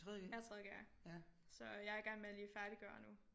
Jeg er 3.g'er ja så jeg er i gang med lige at færdiggøre nu